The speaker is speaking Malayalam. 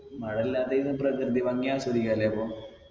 മഴല്ലാ time പ്രകൃതി ഭംഗി ആസ്വദിക്കാലെ അപ്പൊ